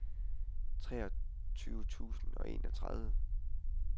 treogtyve tusind og enogtredive